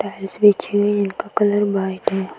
Tiles बिछी हुई हैं इनका कलर वाइट है।